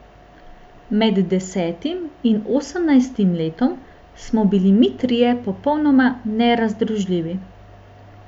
Med desetim in osemnajstim letom smo bili mi trije popolnoma nerazdružljivi.